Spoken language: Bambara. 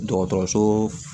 Dɔgɔtɔrɔso